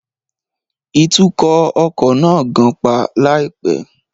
Ìtukọ̀ ọkọ̀ náà gan-pa láìpẹ́